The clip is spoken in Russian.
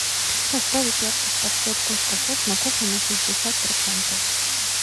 поставить яркость подсветка у шкафов на кухне на шестьдесят процентов